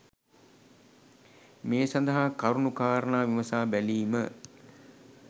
මේ සඳහා කරුණු කාරණා විමසා බැලීම